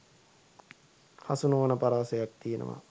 හසු නොවන පරාසයක් තියෙනවා